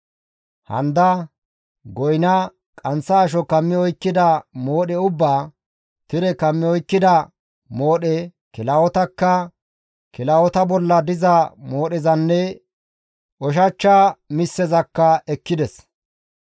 Handa, goyna, qanththa asho kammi oykkida moodhe ubbaa, tire kammi oykkida moodhe, kilahotakka, kilahota bolla diza moodhezanne ushachcha misseza ekkides.